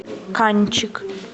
канчик